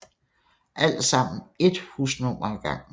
Alt sammen ét husnummer ad gangen